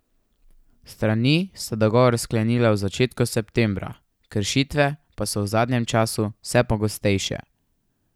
Strani sta dogovor sklenili v začetku septembra, kršitve pa so v zadnjem čase vse pogostejše.